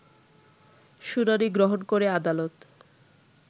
শুনানি গ্রহণ করে আদালত